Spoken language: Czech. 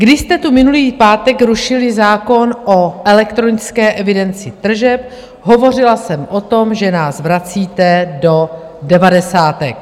Když jste tu minulý pátek rušili zákon o elektronické evidenci tržeb, hovořila jsem o tom, že nás vracíte do devadesátek.